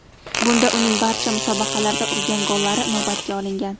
Bunda uning barcha musobaqalarda urgan gollari inobatga olingan.